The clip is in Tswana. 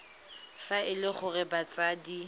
fa e le gore batsadi